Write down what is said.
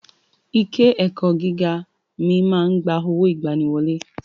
I ké ẹ̀kọ́ gíga mi ma ń gba owó ìgbaniwọlé.